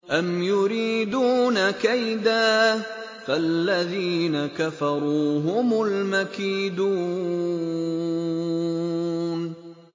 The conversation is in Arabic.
أَمْ يُرِيدُونَ كَيْدًا ۖ فَالَّذِينَ كَفَرُوا هُمُ الْمَكِيدُونَ